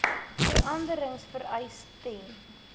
veranderings vereis ten